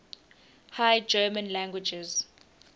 high german languages